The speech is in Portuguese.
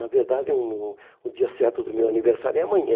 Na verdade, o o dia certo do meu aniversário é amanhã.